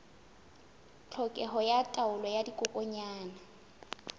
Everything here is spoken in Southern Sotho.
tlhokeho ya taolo ya dikokwanyana